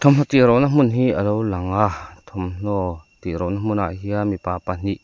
thawmhnaw tih rona hmun hi a lo lang a thuamhnaw tih rona hmunah hian mipa pahnih--